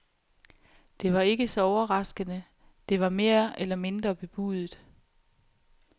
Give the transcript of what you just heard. Det var ikke så overraskende, det var mere eller mindre bebudet.